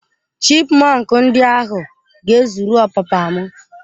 Chipmọnk ndi ahụ ga-ezuru ọpapa m.